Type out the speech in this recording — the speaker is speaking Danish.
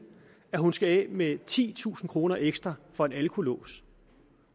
at hun skal af med titusind kroner ekstra for en alkolås